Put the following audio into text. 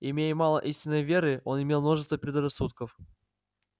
имея мало истинной веры он имел множество предрассудков